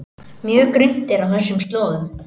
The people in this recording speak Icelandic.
Mjög grunnt er á þessum slóðum